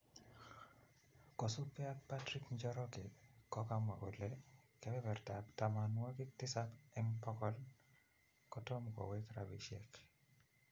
Kosipke ak Patrick Njoroge kokamwa kole kebebertab tomonwokik tisab en bokol kotom kowrk rabishek